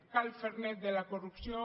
cal fer net de la corrupció